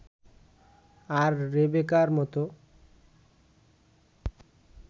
আর রেবেকার মতো